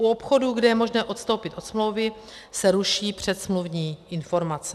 U obchodů, kde je možné odstoupit od smlouvy, se ruší předsmluvní informace.